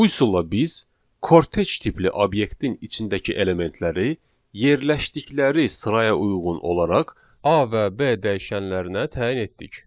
Bu üsulla biz kortec tipli obyektin içindəki elementləri yerləşdikləri sıraya uyğun olaraq A və B dəyişənlərinə təyin etdik.